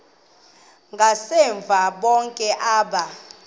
ngasemva bonke aba